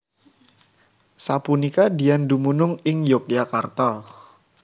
Sapunika Dian dumunung ing Yogyakarta